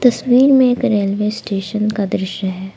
तस्वीर में एक रेलवे स्टेशन का दृश्य है ।